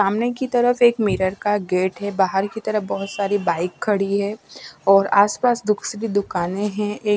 सामने की तरफ एक मिरर का गेट है बाहर की तरफ बहुत सारी बाइक खड़ी है और आसपास बुक्स की दुकानें हैं एक--